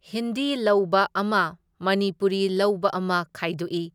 ꯍꯤꯟꯗꯤ ꯂꯧꯕ ꯑꯃ ꯃꯅꯤꯄꯨꯔꯤ ꯂꯧꯕ ꯑꯃ ꯈꯥꯏꯗꯣꯛꯢ,